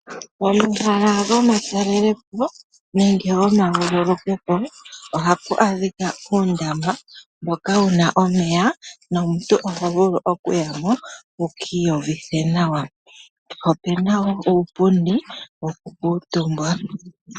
Omahala gomatalelepo nenge goma vululukwepo oha pu adhika uundama mboka wuna omeya, nomuntu oha vulu oku ya mo eki uvithe nawa. Ohapu kala puna uupundi woku kutumbwa.